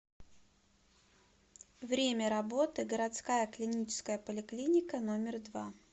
время работы городская клиническая поликлиника номер два